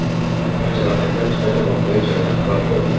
olingan jarohatlar tufayli voqea joyida halok bo‘ldi.